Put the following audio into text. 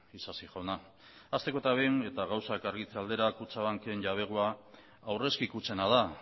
isasi jauna hasteko eta behin eta gauzak argitze aldera kutxabanken jabegoa aurrezki kutxena da